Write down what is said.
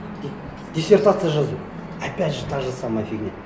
диссертация жазу опять же та же самая фигня